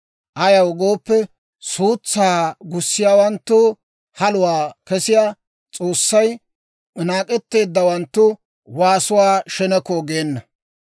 Ayaw gooppe, suutsaa gussiyaawanttoo haluwaa kessiyaa S'oossay naak'etteeddawanttu waasuwaa sheneko geena.